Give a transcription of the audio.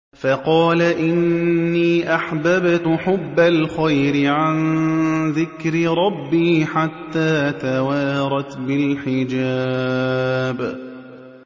فَقَالَ إِنِّي أَحْبَبْتُ حُبَّ الْخَيْرِ عَن ذِكْرِ رَبِّي حَتَّىٰ تَوَارَتْ بِالْحِجَابِ